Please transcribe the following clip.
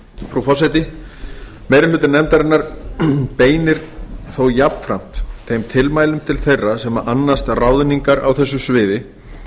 frú forseti meiri hluti nefndarinnar beinir þó jafnframt þeim tilmælum til þeirra sem annast ráðningar á þessu sviði